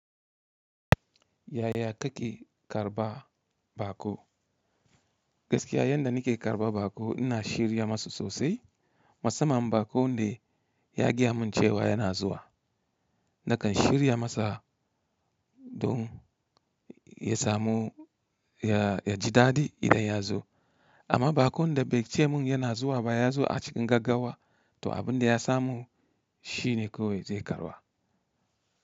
Yaya kake karɓa baƙo? Gaskiya yanda nake karɓa baƙo ina shirya masu sosai. Musamman baƙon da ya gaya mun cewa yana zuwa, nakan shirya masa don ya samu, ya, ya ji daɗi idan ya zo. Amma baƙon da bai ce mun yana zuwa ba ya zo a cikin gaggawa, to abin da ya samu shi ne kawai zai karɓa.